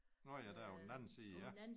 Nåh ja dér på den anden side ja